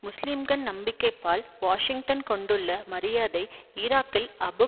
முஸ்லிம்கள் நம்பிக்கைபால் வாஷிங்டன் கொண்டுள்ள மரியாதை ஈராக்கில் அபு